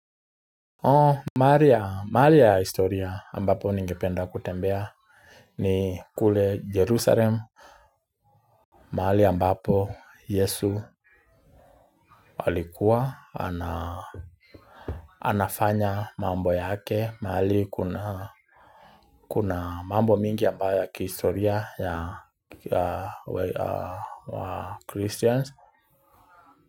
Maali ya historia ambapo ningependa kutembea ni kule Jerusalem. Mahali ambapo Yesu alikuwa. Anafanya mambo yake. Mahali kuna kuna mambo mingi ambayo ya kihistoria ya Christians.